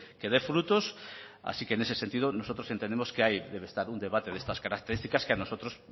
que dé frutos así que en ese sentido nosotros entendemos que ahí debe estar un debate de estas características que a nosotros